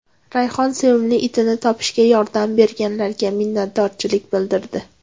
Rayhon sevimli itini topishga yordam berganlarga minnatdorchilik bildirdi.